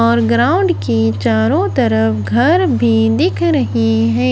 और ग्राउंड के चारो तरफ घर भी दिख रही है।